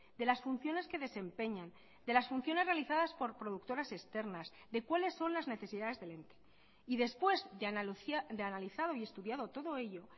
de las funciones que desempeñan de las funciones realizadas por productoras externas de cuáles son las necesidades del ente y después de analizado y estudiado todo ello